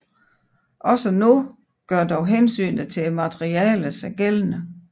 Også nu gør dog hensynet til materialet sig gældende